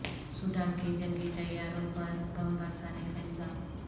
Sudan کے جنگی طیاروں پر بم برسانے کا الزام